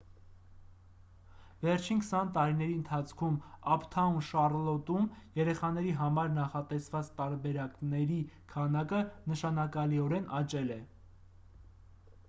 վերջին 20 տարիների ընթացքում «ափթաուն շառլոտ»-ում երեխաների համար նախատեսված տարբերակների քանակը նշանակալիորեն աճել է: